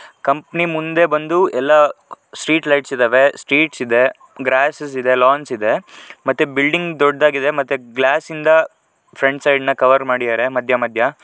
Company ಮುಂದೆ ಬಂದು ಎಲ್ಲ ಸ್ಟ್ರೀಟ್ ಲೈಟ್ಸ್ ಇದವೆ ಸ್ಟ್ರೀಟ್ಸ್ ಇದೆ ಗ್ರಾಸಸ್ ಇದೆ ಲಾನ್ಸ್ ಇದೆ ಮತ್ತೆ ಬಿಲ್ಡಿಂಗ್ ದೊಡ್ಡದಾಗಿದೆ ಮತ್ತೆ ಗ್ಲಾಸ್ ಇಂದ ಫ್ರಂಟ್ ಸೈಡ್ನ ಕವರ್ ಮಾಡಿದಾರೆ ಮಧ್ಯ ಮಧ್ಯ.